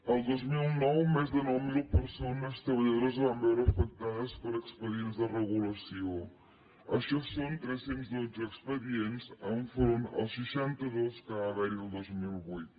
el dos mil nou més de nou mil persones treballadores es van veure afectades per expedients de regulació això són tres cents i dotze expedients en front dels seixanta dos que va haverhi el dos mil vuit